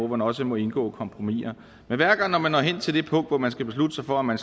man også må indgå i kompromiser men hver gang man når hen til det punkt hvor man skal beslutte sig for om man